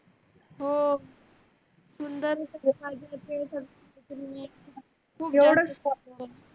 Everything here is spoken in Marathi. हो